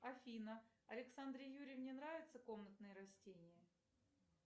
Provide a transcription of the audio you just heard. афина александре юрьевне нравятся комнатные растения